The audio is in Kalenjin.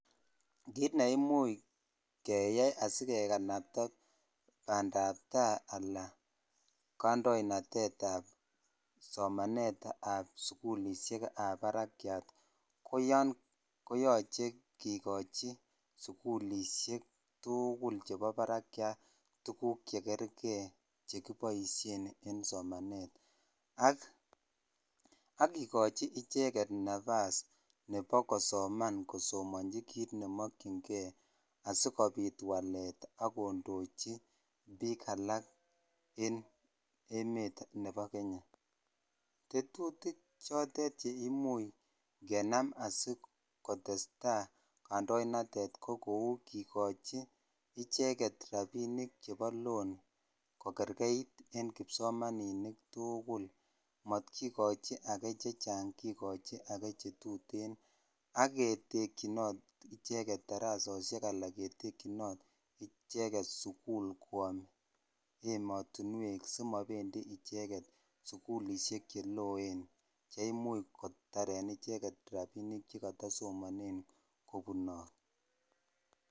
Kit ne imuch keyai asikekanapta bandabta anan kandoinatetab somanetab sugulisiekab barakyat, koyoche kikochi sugulisiek tuugul chebo barakyat tuguk chekerke chekiboisien en somanet ak kikochi icheget napas nebo kosoman, kosomanji kit nemokyinge asikopit walet ak kondochi biik alak en emet nebo Kenya. Tetutik chotet che imuch kenam asikotesta kandoinatet ko kou kikochi icheget rapinik chebo loan kokergeit eng kipsomaninik tugul, matkikochi age chechang kikochi age chetuten ak ketekyinot icheget darasosiek anan ketyinot icheget sukul kwom ematunwek simabendi icheget sukulisiek che loen che imuch kotaren icheget rapinik che katasomanen kopunot.